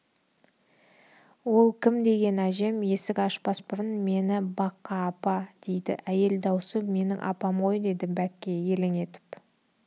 ол кім деген әжем есік ашпас бұрын мен бакка апа деді әйел даусы менің апам ғой деді бәкке елең етіп